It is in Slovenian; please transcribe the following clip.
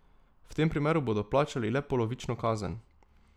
V tem primeru bodo plačali le polovično kazen.